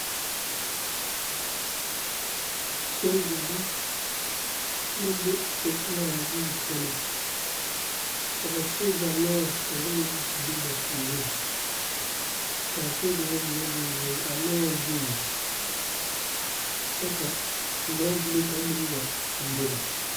sogyɛre la be sokuɔraa zu kyɛnɛ. Ka ba sogɛre lɔɔre kaŋ be ba puoreŋ. Kaa sogɛre mine ziŋ a lɔɔre zuiŋ kyɛ ka lɔbile kaŋ meŋ tuuroba.